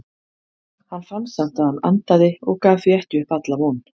Hann fann samt að hann andaði og gaf því ekki upp alla von.